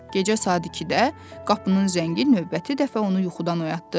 Gecə saat 2-də qapının zəngi növbəti dəfə onu yuxudan oyatdı.